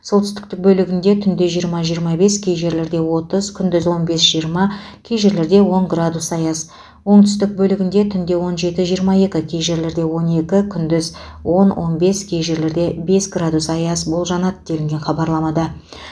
солтүстік бөлігінде түнде жиырмажиырма бес кей жерлерде отыз күндіз он бесжиырма кей жерлерде он градус аяз оңтүстік бөлігінде түнде он жетіжиырма екі кей жерлерде он екі күндіз онон бес кей желерде бес градус аяз болжанады делінген хабарламада